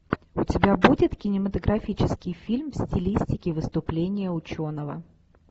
у тебя будет кинематографический фильм в стилистике выступление ученого